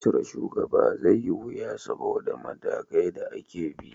Cire shugaba zai yi wuya saboda matakai da ake bi